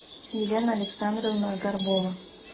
елена александровна горбова